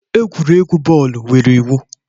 Egwuregwu bọọlụ nwere iwu